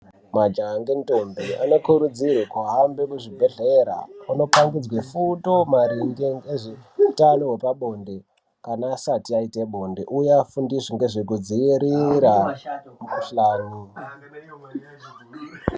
Majaha nendombi anokurudzirwa kuhamba kuzvibhedhlera anopangidzwe fundo maringe nezveutano hwepabonde kana asati aite bonde uye afundiswe nezve kudzivira mukuhlani.